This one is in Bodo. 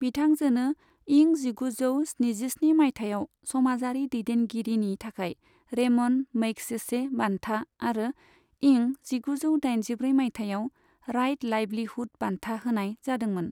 बिथांजोनो इं जिगुजौ स्निजिस्नि माइथायाव समाजारि दैदेनगिरिनि थाखाय रेमन मैगसेसे बान्था आरो इं जिगुजौ दाइनजिब्रै माइथायाव राइट लाइवलीहुड बान्था होनाय जादोंमोन।